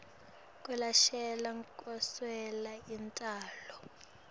kwelashelwa kweswela intalo